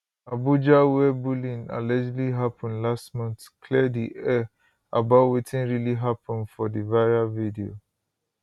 abuja wia bullying allegedly happun last month clear di air about wetin really happun for di viral video